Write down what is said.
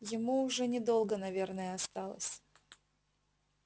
ему уже недолго наверное осталось